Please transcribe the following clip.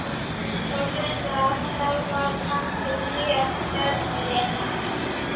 Það var greinilegt að það var hann sem réð ferðinni.